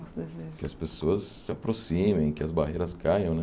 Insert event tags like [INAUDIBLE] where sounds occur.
[UNINTELLIGIBLE] desejo Que as pessoas se aproximem, que as barreiras caiam, né?